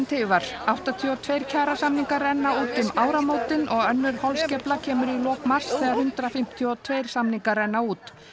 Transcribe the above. tifar áttatíu og tveir kjarasamningar renna út um áramótin og önnur holskefla kemur í lok mars þegar hundrað fimmtíu og tveir samningar renna út